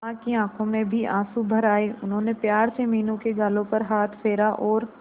मां की आंखों में भी आंसू भर आए उन्होंने प्यार से मीनू के गालों पर हाथ फेरा और